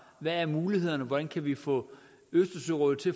hvad er mulighederne hvordan kan vi få østersørådet til